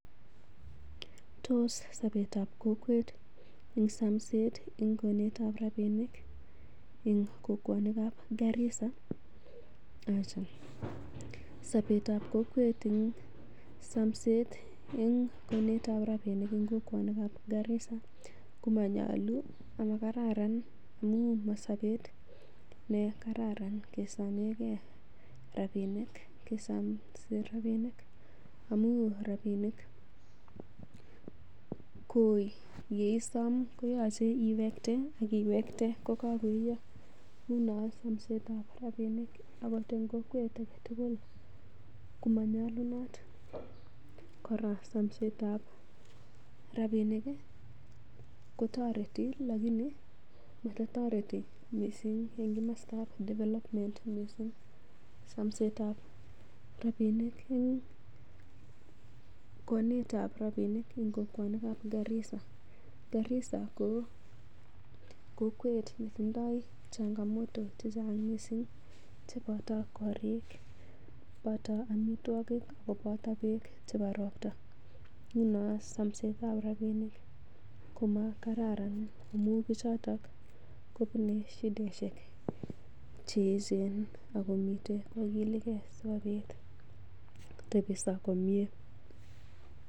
Tos sapet ap kokwet ing somset ing konet ap rabinik ing kokwanik ap Garisa? Acha sobetab kokwet en somset en konet ab rabinik eng kokwanik ab Garisa. Komanyolu amakararan amun mo sobet nekararan kesomege rabinik amun rabinik koye som koyoche iwekte ak iwekte kokagaiiyo. Nguno somset ab rabinik agot en kokwet age tugul komanyolunot kora somsetab rabinik ko toreti lakini mototoreti mising en komostab development mising. Somsetab rabinik eng konetab rabinik eng kokwonikab Garissa. Garissa ko kokwet netindo changamoto che chang mising cheboto korik, boto amitwogik, koboto beek chebo ropta. Nguno somsetab rabinik komakararan amun bichoto kobune shidaishek che eechen ak komiten kogileke sikobit kotepso komye.